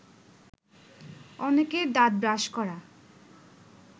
অনেকের দাঁত ব্রাশ করা